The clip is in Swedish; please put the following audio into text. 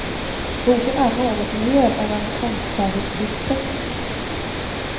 Boken är något mer än en konstfärdigt tryckt text.